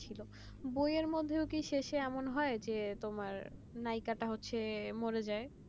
বইয়ের মধ্যেও কি শেষে এরকম হয় যে তোমার নায়িকাটা মরে যাই